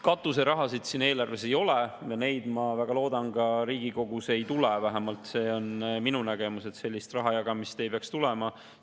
Katuserahasid eelarves ei ole ja neid, ma väga loodan, ka Riigikogus sinna ei tule, vähemalt see on minu nägemus, et sellist raha jagamist ei peaks tulema.